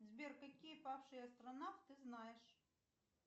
сбер какие павшие астронавт ты знаешь